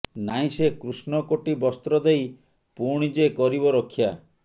ନାହିଁ ସେ କୃଷ୍ଣ କୋଟି ବସ୍ତ୍ର ଦେଇ ପୁଣି ଯେ କରିବ ରକ୍ଷା